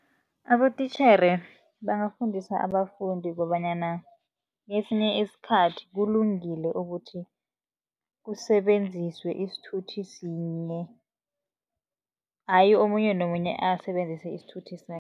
Abotitjhere bangafundisa abafundi kobanyana, kesinye isikhathi kulungile ukuthi kusebenziswe isithuthi sinye. Ayi omunye nomunye asebenzise isithuthi